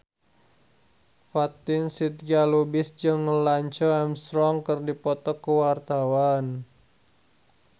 Fatin Shidqia Lubis jeung Lance Armstrong keur dipoto ku wartawan